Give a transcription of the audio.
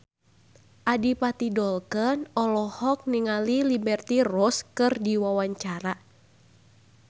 Adipati Dolken olohok ningali Liberty Ross keur diwawancara